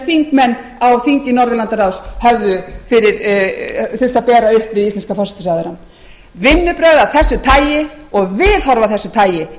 þingmenn á þingi norðurlandaráðs höfðu þurft að bera upp við íslenska forsætisráðherrann vinnubrögð af þessu tagi